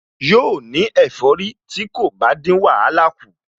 Yóò ní ẹ̀fọ́rí tí kò bá dín wàhálà kù